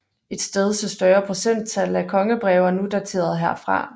Et stedse større procenttal af kongebreve er nu daterede herfra